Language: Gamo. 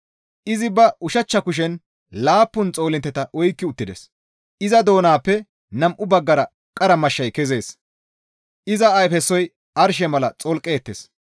Izi ba ushachcha kushen laappun xoolintteta oykki uttides; iza doonappe nam7u baggara qara mashshay kezees; iza ayfesoy arshe mala xolqettees.